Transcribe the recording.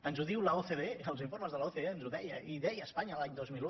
ens ho diu l’ocde els informes de l’ocde ens ho deien i deien espanya l’any dos mil un